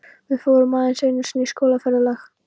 Við fórum aðeins einu sinni í skólaferðalag.